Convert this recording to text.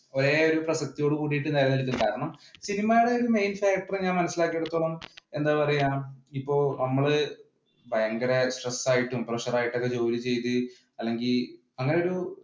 ഒരേ ഒരേ പ്രസക്തിയോട് കൂടി നിലനിൽക്കും കാരണം സിനിമയുടെ main factor ഞാൻ മനസിലാക്കിയത് അടുത്തോളം എന്താ പറയുക ഇപ്പൊ നമ്മൾ ഭയങ്കര സ്ട്രെസ് ആയിട്ടും പ്രഷർ ആയിട്ടും ജോലി ചെയ്തു അല്ലെങ്കിൽ അങ്ങനെ ഒരു